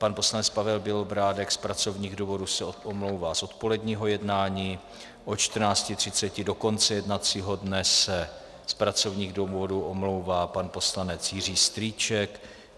Pan poslanec Pavel Bělobrádek z pracovních důvodů se omlouvá z odpoledního jednání, od 14.30 do konce jednacího dne se z pracovních důvodů omlouvá pan poslanec Jiří Strýček.